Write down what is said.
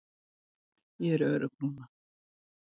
Ég er örugg núna.